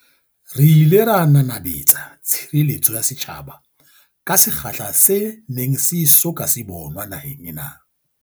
Re ile ra nanabetsa tshire letso ya setjhaba ka sekgahla se neng se e so ka se bonwa naheng ena.